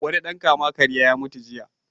Wani ɗan kama-karya ya mutu jiya.